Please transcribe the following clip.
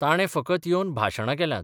ताणें फकत येवन भाशणां केल्यांत.